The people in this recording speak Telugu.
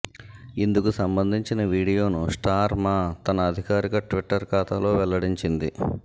ఇందుకు సంబంధించిన వీడియోను స్టార్ మా తన అధికారిక ట్విట్టర్ ఖాతాలో వెల్లడించింది